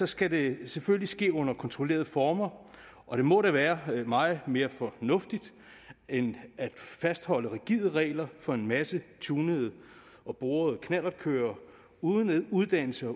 skal det selvfølgelig ske under kontrollerede former og det må da være meget mere fornuftigt end at fastholde rigide regler for en masse tunede og borede knallertkørere uden uddannelse